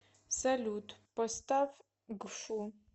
салют поставь гфу